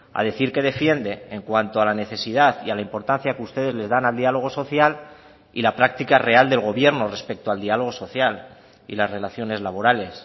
a decir que defiende en cuanto a la necesidad y a la importancia que ustedes le dan al dialogo social y la práctica real del gobierno respecto al diálogo social y las relaciones laborales